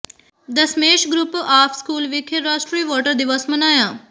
Dasmesh group of school ਵਿਖੇ ਰਾਸ਼ਟਰੀ voter ਦਿਵਸ ਮਨਾਇਆ